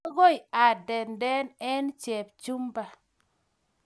Akoi andendet eng' Chepchumba.